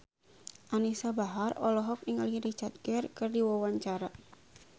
Anisa Bahar olohok ningali Richard Gere keur diwawancara